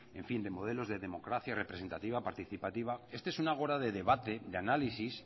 de modelos de democracia representativa participativa este es un ágora de debate de análisis